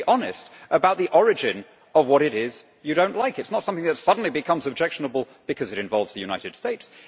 You should be honest about the origin of what it is you do not like. It is not something that suddenly becomes objectionable because it involves the United States.